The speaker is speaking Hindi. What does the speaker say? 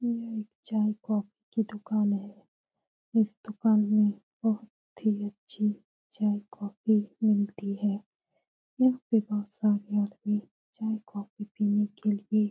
यह एक चाय-कॉफ़ी की दूकान है इस दूकान में बहुत ही अच्छे चाय-कॉफ़ी मिलती है यहाँ पर बहुत सारे आदमी चाय-कॉफ़ी पीने के लिए --